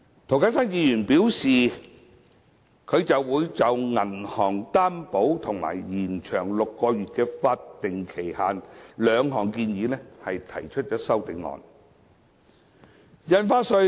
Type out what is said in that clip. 涂謹申議員表示會就銀行擔保及延長6個月的法定期限兩項建議提出修正案。